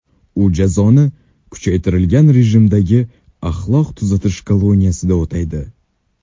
U jazoni kuchaytirilgan rejimdagi axloq tuzatish koloniyasida o‘taydi.